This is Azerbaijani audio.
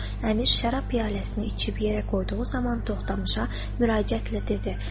Əmir şərab piyaləsini içib yerə qoyduğu zaman Toxtamışa müraciətlə dedi.